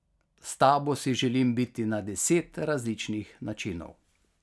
S tabo si želim biti na deset različnih načinov.